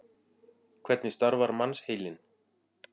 Hvernig starfar mannsheilinn?